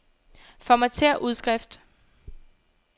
Formatér udskrift.